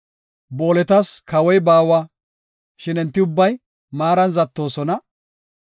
Booletas kawoy baawa; shin enti ubbay maaran zattoosona.